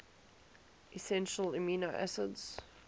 essential amino acids